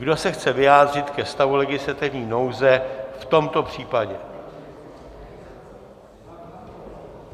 Kdo se chce vyjádřit ke stavu legislativní nouze v tomto případě?